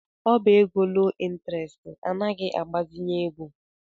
Ọbá égo loo ịntrestị anaghị agbazinye ego.